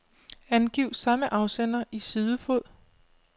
Angiv samme afsender i sidefod.